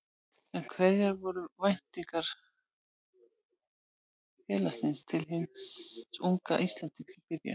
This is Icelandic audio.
En hverjar voru væntingar félagsins til hins unga Íslendings í byrjun?